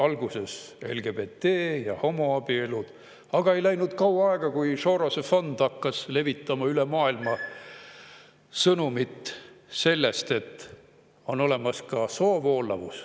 Alguses oli LGBT ja homoabielud, aga ei läinud kaua aega, kui Sorosi fond hakkas levitama üle maailma sõnumit sellest, et on olemas ka soovoolavus.